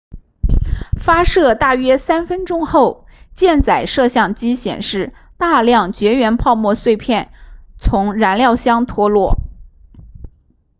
发射大约3分钟后箭载摄像机显示大量绝缘泡沫碎片从燃料箱脱落